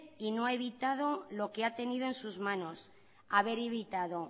no ha evitado lo que ha tenido en sus manos haber evitado